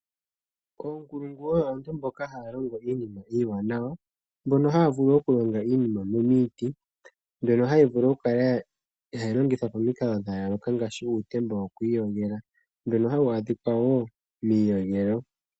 Oonkulungu oyo aantu mboka haya longo iinima iiwanawa, mbono haya vulu okulonga iinima miiti, mbyono hayi vulu oku kala hayi longithwa pomikalo dha yooloka ngaashi uutemba wokwiiyogela, mbono hawu adhika miiyogelo.